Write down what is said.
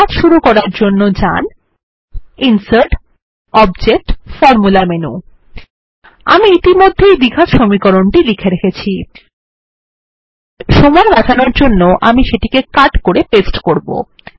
math শুরু করার জন্য যান ইনসার্টগটবজেক্টগৎফরমুলা মেনু আমি ইতিমধ্যেই দ্বিঘাত সমীকরণ লিখে রেখেছি সময় বাঁচানোর জন্য আমি সেটিকে কাট করে পেস্ট করবো